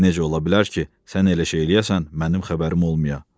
Necə ola bilər ki, sən elə şey eləyəsən, mənim xəbərim olmaya?